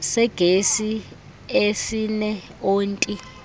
segesi esine onti